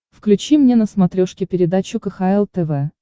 включи мне на смотрешке передачу кхл тв